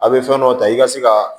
A' bɛ fɛn dɔw ta i ka se ka